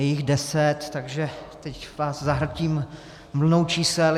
Je jich deset, takže teď vás zahltím vlnou čísel.